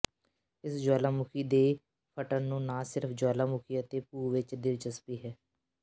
ਇਸ ਜੁਆਲਾਮੁਖੀ ਦੇ ਫਟਣ ਨੂੰ ਨਾ ਸਿਰਫ ਜੁਆਲਾਮੁਖੀ ਅਤੇ ਭੂ ਵਿੱਚ ਦਿਲਚਸਪੀ ਹੈ